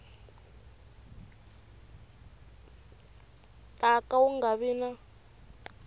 ta ka wu nga vi